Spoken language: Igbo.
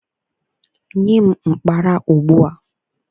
Nye m mkpara ugbu a!